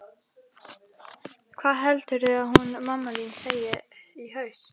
Hvað heldurðu að hún mamma þín segi í haust?